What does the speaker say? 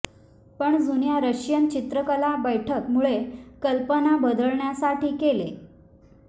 पण जुन्या रशियन चित्रकला बैठक मूळ कल्पना बदलण्यासाठी केले